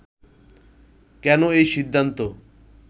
কেন এই সিদ্ধান্ত